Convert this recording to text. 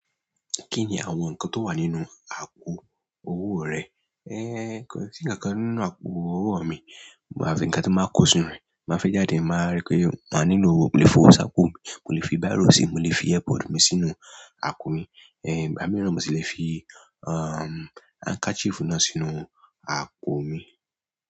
Kí ni àwọn nǹkan tó wà nínú àpò owó rẹ? Ẹ́, kò sí ǹkankan nínú àpò owó mi, àfi nǹkan tí máa ń kó sínú rẹ, máa fẹ́ jáde máa rí pé máa nílò, mo lè fọ sáàpù mi, mo lè fi bíró síi, mo lè fi airpod mi sínú àpò mi. Ẹ̀, ìgbá mi na mọ́ si ò sì lè fi, um, handkerchief náà sínú àpò mi.